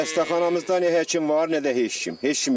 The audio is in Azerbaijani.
Xəstəxanamızda nə həkim var, nə də heç kim.